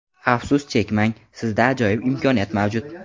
Afsus chekmang, sizda ajoyib imkoniyat mavjud!.